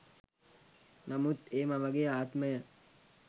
නමුත් ඒ මවගේ ආත්මය